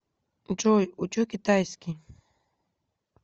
джой учу китайский